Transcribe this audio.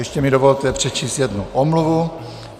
Ještě mi dovolte přečíst jednu omluvu.